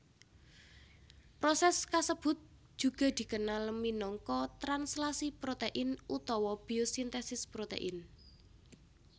Proses kasebut juga dikenal minangka translasi protein utawa biosintesis protein